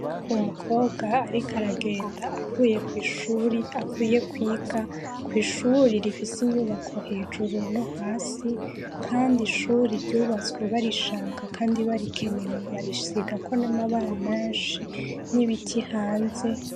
Umukobwa, ariko aragenda auekuavuye kwiga kw'ishuri rifise inyubako hejuru no hasi, kandi ishuri ryubatswe barishaka, kandi barikenewe barishigako n'amabara manshi n'ibiti hanze.